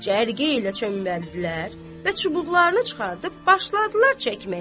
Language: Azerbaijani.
Cərgəylə çömbəldilər və çubuqlarını çıxardıb başladılar çəkməyə.